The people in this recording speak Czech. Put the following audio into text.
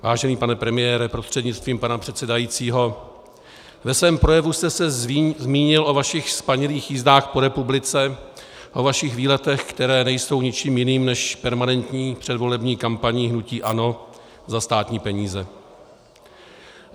Vážený pane premiére prostřednictvím pana předsedajícího, ve svém projevu jste se zmínil o vašich spanilých jízdách po republice, o vašich výletech, které nejsou ničím jiným než permanentní předvolební kampaní hnutí ANO za státní peníze.